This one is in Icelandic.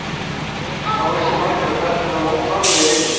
Það voru ekki margir á ferli en hann ók varlega í rigningunni.